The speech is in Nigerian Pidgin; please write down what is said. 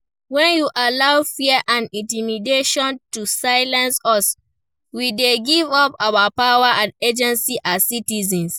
When we allow fear and intimidation to silence us, we dey give up our power and agency as citizens.